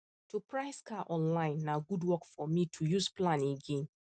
to price car online na good work for me to use plan again